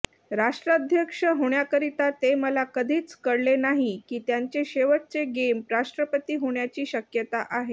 राष्ट्राध्यक्ष होण्याकरिता ते मला कधीच कळले नाही की त्यांचे शेवटचे गेम राष्ट्रपती होण्याची शक्यता आहे